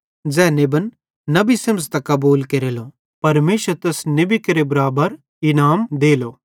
ज़ै नेबन नबी सेमझ़तां कबूल केरेलो परमेशर तैस नेबी केरे बराबर इनाम देलो ते ज़ै धेर्मी मैनू धर्मी सेमझ़तां कबूल केरते परमेशर तैस धेर्मी बराबर इनाम देलो